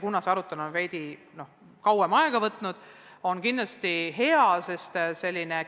Kuna see arutelu on veidi kauem aega võtnud, on selline otsus kindlasti hea.